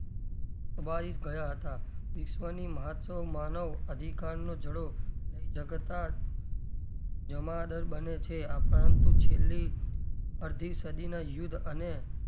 ગયાં હતાં વિશ્વની મહોત્સવ માનવ અધિકારનો જડો લઇ જગતા જમાદાર બને છે આ પરંતુ છેલ્લી અડધી સદીના યુદ્ધ અને,